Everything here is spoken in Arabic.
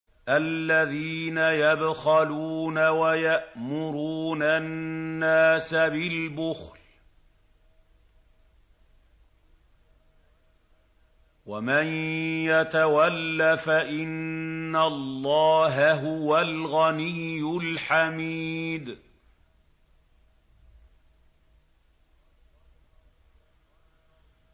الَّذِينَ يَبْخَلُونَ وَيَأْمُرُونَ النَّاسَ بِالْبُخْلِ ۗ وَمَن يَتَوَلَّ فَإِنَّ اللَّهَ هُوَ الْغَنِيُّ الْحَمِيدُ